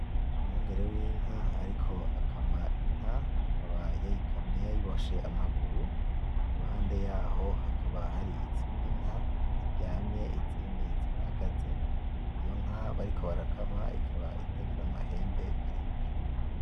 Umwumgere w'inka ariko akama inka akaba yayikamye yayiboshe amaguru iruhande yaho hakaba hari izindi nka ziryamye izindi zirahagaze, iyo nka bariko barakama ikaba itagira amahembe maremare.